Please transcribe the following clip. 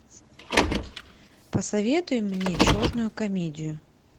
посоветуй мне черную комедию